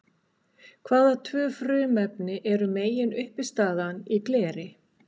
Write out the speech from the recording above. Hvaða tvö frumefni eru meginuppistaðan í gleri?